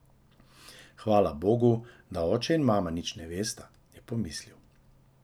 Hvala bogu, da oče in mama nič ne vesta, je pomislil.